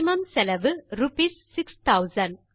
maximum செலவு rupees 6000